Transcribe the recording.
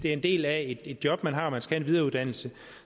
er en del af et job man har og man skal have en videreuddannelse